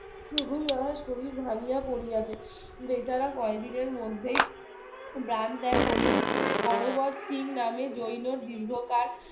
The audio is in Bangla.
শরীর ভাঙিয়া পড়িয়াছে বেচারা কয়েকদিনের মধ্যেই প্রাণ ত্যাগ করিল হরবর শিং নামে জৈন দীর্ঘকাল